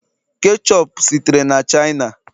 ketchup sitere na china